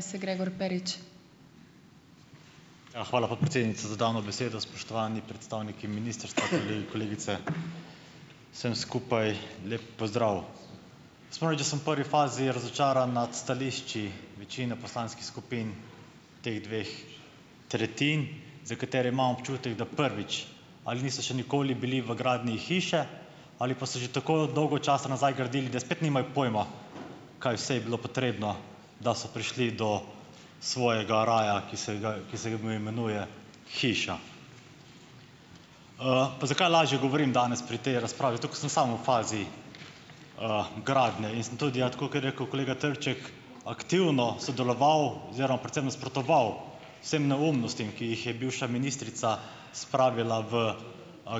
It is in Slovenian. Ja. Hvala, podpredsednica za dano besedo, spoštovani predstavniki ministrstva, kolegi, kolegice. Vsem skupaj lep pozdrav. Jaz moram reči, da sem v prvi fazi razočaran nad stališči večine poslanskih skupin teh dveh tretjin, za katere imam občutek, da prvič, ali niso še nikoli bili v gradnji hiše, ali pa so že tako dolgo časa nazaj gradili, da spet nimajo pojma, kaj vse je bilo potrebno, da so prišli do svojega raja, ki se ga ki se ga poimenuje hiša. Pa zakaj lažje govorim danes pri tej razpravi? Zato ker sem sam v fazi, gradnje in sem tudi, ja, tako kot je rekel kolega Trček, aktivno sodeloval oziroma predvsem nasprotoval vsem neumnostim, ki jih je bivša ministrica spravila v,